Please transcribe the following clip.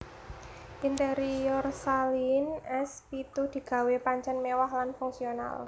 Interior Saleen S pitu digawé pancen mewah lan fungsional